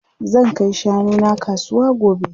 Zan kai shanu na kasuwa gobe.